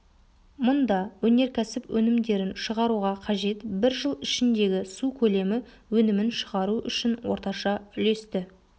мұнда өнеркәсіп өнімдерін шығаруға қажет бір жыл ішіндегі су көлемі өнімін шығару үшін орташа үлесті